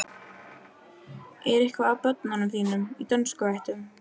En er eitthvað af börnunum þínum af dönsku ættum?